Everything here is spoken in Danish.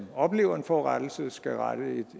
oplever en forurettelse skal rette